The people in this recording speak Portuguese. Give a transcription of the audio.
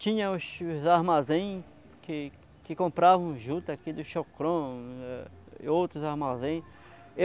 Tinha os armazéns que que compravam juta aqui do Chocron é e outros armazéns.